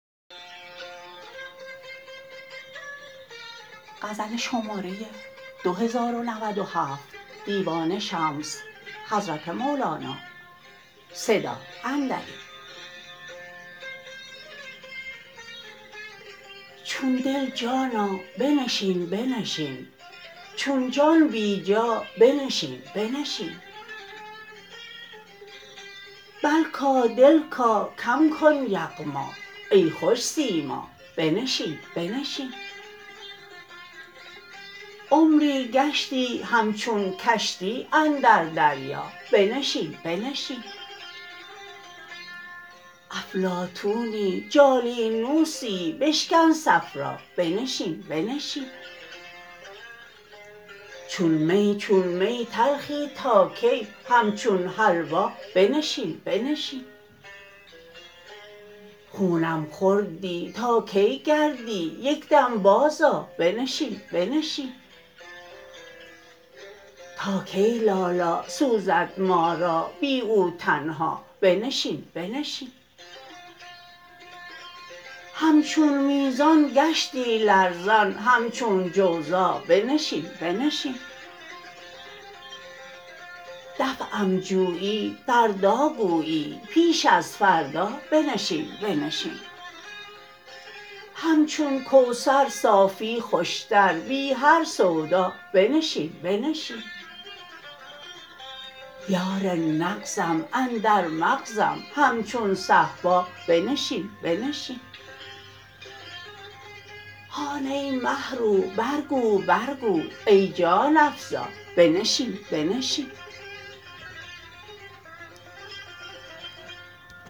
چون دل جانا بنشین بنشین چون جان بی جا بنشین بنشین بلکا دلکا کم کن یغما ای خوش سیما بنشین بنشین عمری گشتی همچون کشتی اندر دریا بنشین بنشین افلاطونی جالینوسی بشکن صفرا بنشین بنشین چون می چون می تلخی تا کی همچون حلوا بنشین بنشین خونم خوردی تا کی گردی یک دم بازآ بنشین بنشین تا کی لالا سوزد ما را بی او تنها بنشین بنشین همچون میزان گشتی لرزان همچون جوزا بنشین بنشین دفعم جویی فردا گویی پیش از فردا بنشین بنشین همچون کوثر صافی خوشتر بی هر سودا بنشین بنشین یار نغزم اندر مغزم همچون صهبا بنشین بنشین هان ای مه رو برگو برگو ای جان افزا بنشین بنشین